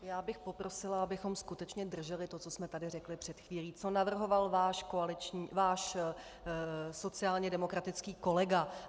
Já bych poprosila, abychom skutečně drželi to, co jsme tady řekli před chvílí, co navrhoval váš sociálně demokratický kolega.